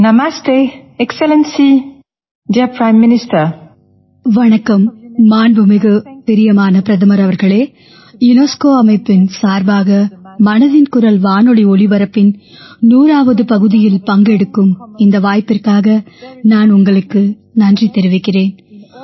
யுனெஸ்கோவின் தலைமை இயக்குநர் வணக்கம் மாண்புமிகு பிரியமான பிரதமர் அவர்களே யுனெஸ்கோ அமைப்பின் சார்பாக மனதின் குரல் வானொலி ஒலிபரப்பின் 100ஆவது பகுதியில் பங்கெடுக்கும் இந்த வாய்ப்பிற்காக நான் உங்களுக்கு நன்றி தெரிவிக்கிறேன்